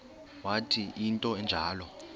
wathi into enjalo